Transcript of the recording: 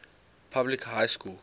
public high school